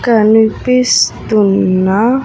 కనిపిస్తున్న.